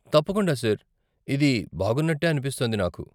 తప్పకుండా, సార్, ఇది బాగున్నట్టే అనిపిస్తోంది నాకు.